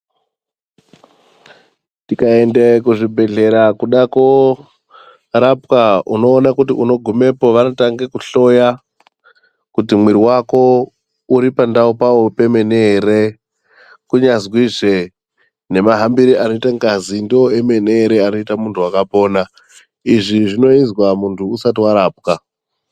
Tikaende kuzvibhedhlera kudakorapwa unoone kuti unogumepo vanotange kuhloya kuti mwiri vako uri pandau pavo kwemene ere. Kunyazwizve mahambire anota ngazi ndivo emene ere anoita muntu vakapona, izvi zvinozwa muntu usati varapwa.